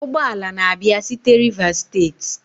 ụgbọ ala na-abịa site Rivers state?